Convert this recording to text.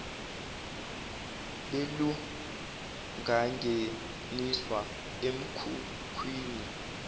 belu bangeniswa emkhukhwini